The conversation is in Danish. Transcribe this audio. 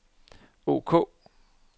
ok